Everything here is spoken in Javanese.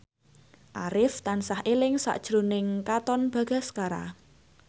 Arif tansah eling sakjroning Katon Bagaskara